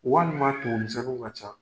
Walima tumu misɛnniw ka ca.